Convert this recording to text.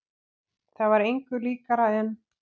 Það var engu líkara en